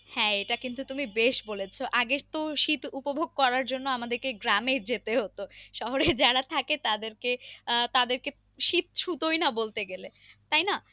হ্যাঁ এটা কিন্তু তুমি বেশ বলেছো আগে তো শীত উপভোগ করার জন্য আমাদেরকে গ্রামে যেতে হতো শহরে যারা থাকে তাদেরকে আহ তাদেরকে শীত ছুতোয় না বলতে গেলে তাই না।